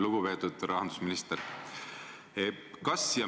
Lugupeetud rahandusminister!